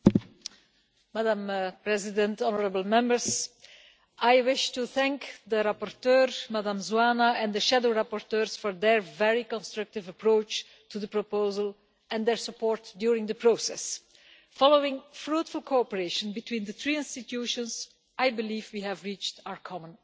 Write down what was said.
Madam President, I wish to thank the rapporteur, Ms Zoană, and the shadow rapporteurs for their very constructive approach to the proposal, and their support during the process. Following fruitful cooperation between the three EU institutions, I believe we have reached our common objective.